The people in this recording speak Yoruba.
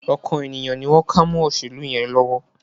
Ọkàn ènìyàn ni wọ́n ká mọ́ òṣèlú yẹn lọ́wọ́